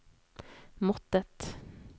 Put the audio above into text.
måttet